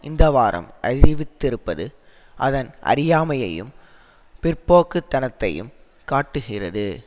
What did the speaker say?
இந்தவாரம் அறிவித்திருப்பது அதன் அறியாமையையும் பிற்போக்குத்தனத்தையும் காட்டுகிறது